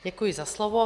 Děkuji za slovo.